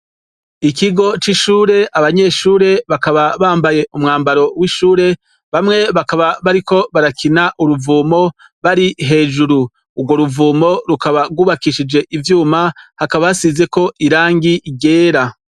Ikigo cishure abanyeshure bakaba bambaye umwambaro w'ishure bamwe bakaba bariko barakina uruvumo bari hejuru urwo ruvomo rukaba rwubakishije ivyuma hakaba hasizeko irangi ryera.